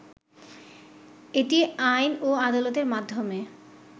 এটি আইন ও আদালতের মাধ্যমে